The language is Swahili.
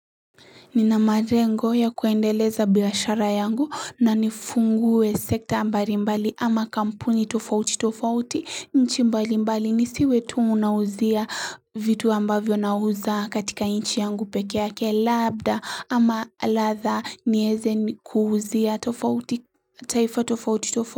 Ninamalengo ya kuendeleza biashara yangu na nifungue sekta mbali mbali ama kampuni tofauti tofauti nchi mbali mbali nisiwe tu nauzia vitu ambavyo nauza katika nchi yangu peke yake labda ama ladhaa nieze kuuzia tofauti taifa tofauti tofauti.